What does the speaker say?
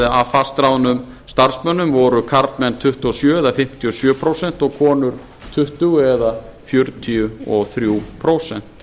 af fastráðnum starfsmönnum voru karlmenn tuttugu og sjö eða fimmtíu og sjö prósent og konur tuttugu eða fjörutíu og þrjú prósent